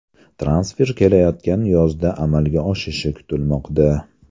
Transfer kelayotgan yozda amalga oshishi kutilmoqda.